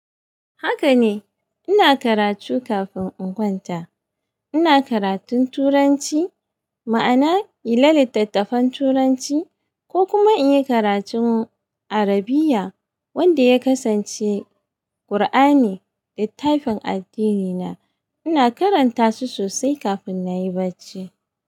Haka ne, ina karatu kafin in kwanta. Ina karatun Turanci, ma'ana yi la litattafan Turanci ko kuma in yi karatun Arabiya wanda ya kasance Kur'ani da littfin addini na. Ina karanta su sosai kafin na yi barci.